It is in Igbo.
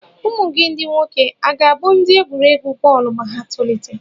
Ụmụ gị ndị nwoke à ga-abụ ndị egwuregwu bọọlụ ma ha tolite?